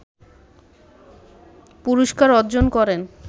পুরস্কার অর্জন করেন